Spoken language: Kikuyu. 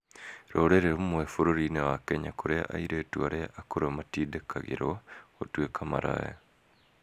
Rurĩrĩ rũmwe bũrũri-inĩ wa Kenya kũrĩa airĩtu arĩa akũrũ matindĩkagĩrũo gũtuĩka maraya.